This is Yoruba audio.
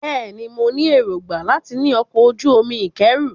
Bẹ́ẹ̀ ni, mo ní èròńgbà láti ní ọkọ̀-ojú-omi ìkẹ́rù.